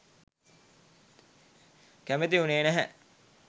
කැමැති වුණේ නැහැ.